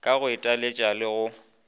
ka go itlwaetša le go